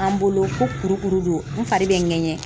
An bolo ko kurukuru don n fari bɛ n ŋɛɲɛ